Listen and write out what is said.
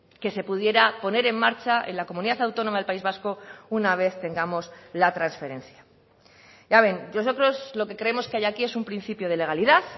que se pudiera poner en marcha en la comunidad autónoma del país vasco una vez tengamos la transferencia ya ven nosotros lo que creemos que hay aquí es un principio de legalidad